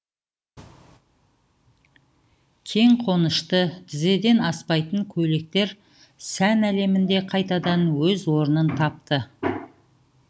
кең қонышты тізеден аспайтын көйлектер сән әлемінде қайтадан өз орнын тапты